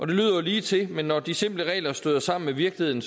lyder jo lige til men når de simple regler støder sammen med virkeligheden